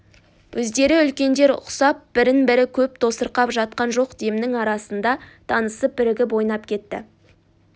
өздері үлкендер құсап бірін-бірі көп тосырқап жатқан жоқ демнің арасында танысып бірігіп ойнап кетті